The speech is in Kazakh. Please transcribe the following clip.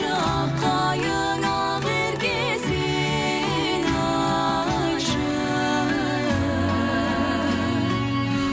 ақ қайың ақерке сен айтшы